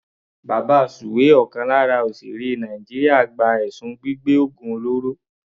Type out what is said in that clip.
Babasuwe ọ̀kan lára òsèèré Nàìjíríà gba ẹ̀sùn gbígbẹ́ ògùn olóró.